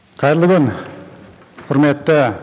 қайырлы күн құрметті